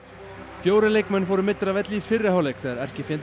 fjórir leikmenn fóru meiddir af velli í fyrri hálfleik þegar erkifjendurnir